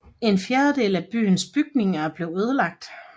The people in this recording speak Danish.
En fjerdedel af byens bygninger blev ødelagt